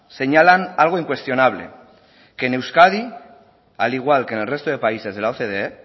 señalan algo incuestionable que en euskadi al igual que en el resto de países de la ocde